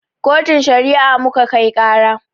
Kotun Shari'a muka kai ƙara.